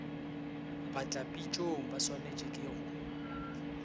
batlapitšong ba swanelwago ke go